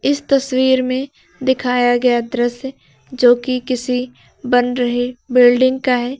इस तस्वीर में दिखाया गया दृश्य जो कि किसी बन रहे बिल्डिंग का है।